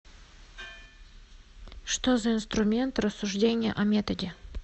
что за инструмент рассуждение о методе